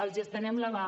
els estenem la mà